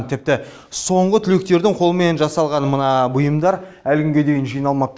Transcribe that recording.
тіпті соңғы түлектердің қолымен жасалған мына бұйымдар әлі күнге дейін жиналмапты